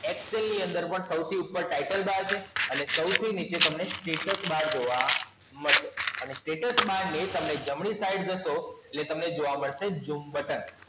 Excel ની અંદર પણ સૌથી ઉપર Title Bar છે અને સૌથી નીચે તમને Status Bar જોવા મળશે. અને Status Bar ની તમે જમણી Side જશો એટલે તમને જોવા મળશે Zoom Button